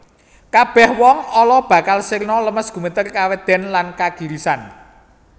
Kabèh wong ala bakal sirna lemes gumeter kawedèn lan kagirisan